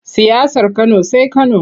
Siyasar Kano sai Kano.